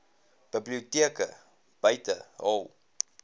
biblioteke buite hul